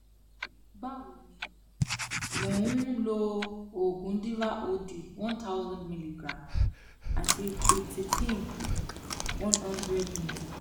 bawoni mo n lo ogun diva od one thousand milligram ati qutipin one hundred meter